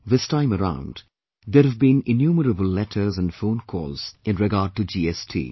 This time around, there have been innumerable letters and phone calls in regard to GST